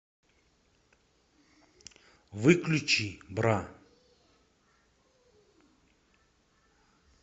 выключи бра